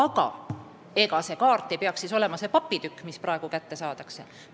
Ja ega see kaart ei peaks olema too papitükk, mis praegu kätte saadakse.